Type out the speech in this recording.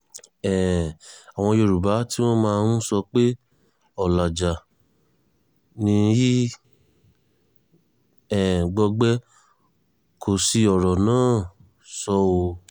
um àwọn yorùbá tí wọ́n máa ń sọ pé ọ̀làjà ni í um gbọgbẹ́ kò sí ọ̀rọ̀ náà sọ ọ́